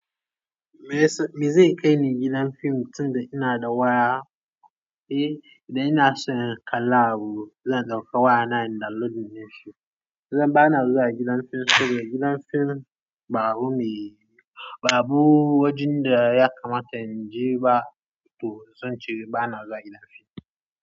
Me zai kai ni gidan fim tunda ina da waya? Eh, idan ina son kallon abu zan ɗauka wayana in download na yi shi. Zan ba na zuwa gidan fim saboda gidan fim babu me, babu wajen da ya kamata in je ba to zan ce ba na zuwa gidan fim.